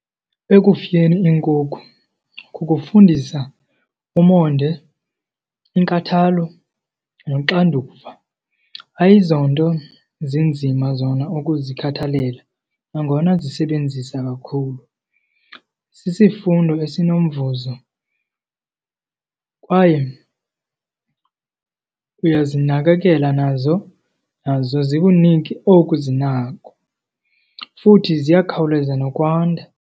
Ekufuyeni iinkukhu kukufundisa umonde, inkathalo noxanduva. Ayizonto zinzima zona ukuzikhathalela nangona zisebenzisa kakhulu. Sisifundo esinomvuzo kwaye uyazinakekela nazo, nazo zikunike oku zinako. Futhi ziyakhawuleza nokwanda.